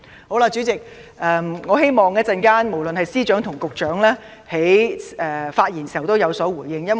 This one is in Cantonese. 好了，主席，我希望稍後司長或局長在發言時會有所回應。